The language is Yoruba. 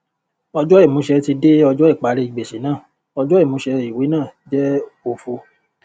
ọjọ ìmúṣẹ tí de ọjọ ìparí gbèsè náà ọjọ ìmúṣẹ ìwé náà jẹ òfo